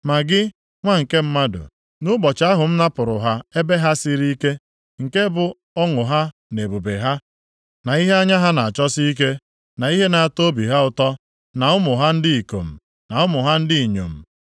“Ma gị, nwa nke mmadụ, nʼụbọchị ahụ m napụrụ ha ebe ha siri ike, nke bụ ọṅụ ha na ebube ha, na ihe anya ha na-achọsi ike; na ihe na-atọ obi ha ụtọ, na ụmụ ha ndị ikom na ụmụ ha ndị inyom,